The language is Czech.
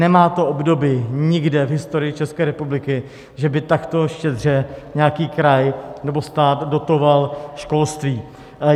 Nemá to obdoby nikde v historii České republiky, že by takto štědře nějaký kraj nebo stát dotoval školství.